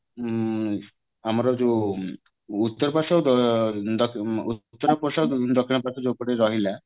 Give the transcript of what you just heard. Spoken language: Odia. ଆମର ଯୋଉ ଉତ୍ତର ପାଶ୍ଵ ତା ଦ ଉତ୍ତର ପାଶ୍ଵ ଦକ୍ଷିଣ ପାଶ୍ଵ ଯୋଉପଟେ ରହିଲା